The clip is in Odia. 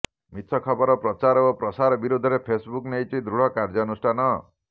ମିଛ ଖବର ପ୍ରଚାର ଓ ପ୍ରସାର ବିରୋଧରେ ଫେସବୁକ୍ ନେଇଛି ଦୃଢ କାର୍ଯ୍ୟାନୁଷ୍ଠାନ